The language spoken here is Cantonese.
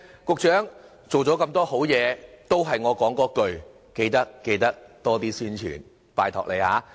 局長，做了那麼多好事，仍是我所說的那一句，緊記多做宣傳，拜託你了。